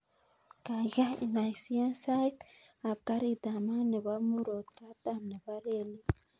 Kaigai inaisiyan sait ap karit ap maat nepo murot katam nebo relit